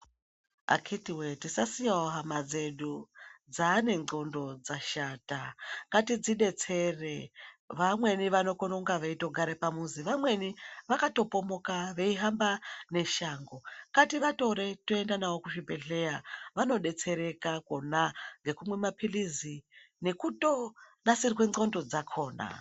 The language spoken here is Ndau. Akiti woye tisasiyewo hama dzedu dzaane xlondo dzashata ngatidzidetsere vamweni vanokone kunge veitogare pamuzi, vamweni vakatopomoka veihamba neshango ngativatorore toenda navo kuzvibhehleya vanodetseraka kona ngekumwe mapilizi nekutonasirwe nxlondo dzakona.